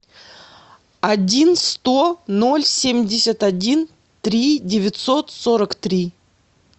один сто ноль семьдесят один три девятьсот сорок три